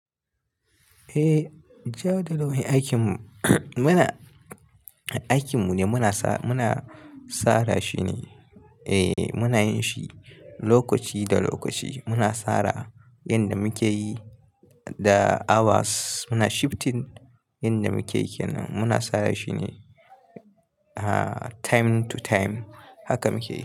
Eh, jawabi da rawar aikin mu muna, aikin mu ne muna sa muna sara shi ne. Eh muna yin shi lokaci da lokaci muna tsara yanda muke yi da hours muna shifting yanda muke yin muna tsara shi ne, ah time to time haka muke.